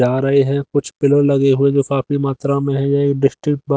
जा रहे हैं कुछ पिलर लगे हुए जो काफी मात्रा में है ये डिस्टिक बा--